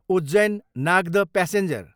Ujjain, Nagda passenger